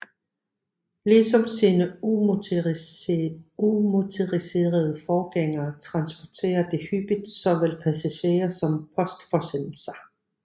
Ligesom sine umotoriserede forgængere transporterer de hyppigt såvel passagerer som postforsendelser